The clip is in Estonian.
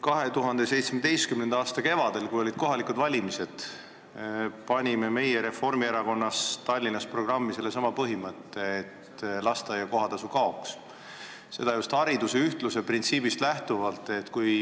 2017. aasta kevadel, kui olid kohalikud valimised, panime meie Reformierakonnas Tallinnas programmi sellesama põhimõtte, et lasteaia kohatasu kaoks – seda just hariduse ühtluse printsiipi silmas pidades.